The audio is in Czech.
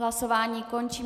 Hlasování končím.